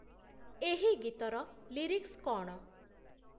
ଏହି ଗୀତର ଲିରିକ୍ସ୍‌ କ’ଣ?